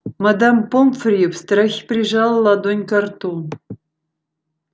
мадам помфри в страхе прижала ладонь ко рту